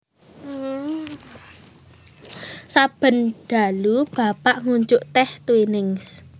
Saben dalu Bapak ngunjuk teh Twinings